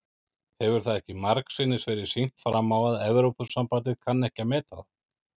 Hefur það ekki margsinnis verið sýnt fram á að Evrópusambandið kann ekki að meta það?